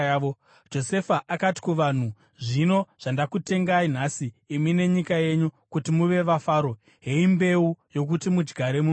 Josefa akati kuvanhu, “Zvino zvandakutengai nhasi imi nenyika yenyu kuti muve vaFaro, heyi mbeu yokuti mudyare muminda.